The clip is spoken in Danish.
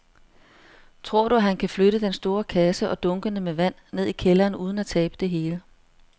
Tror du, at han kan flytte den store kasse og dunkene med vand ned i kælderen uden at tabe det hele?